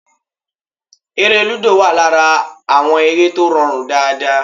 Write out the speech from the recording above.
Eré lúdò wà lára àwọn eré tó rọrùn dáadáa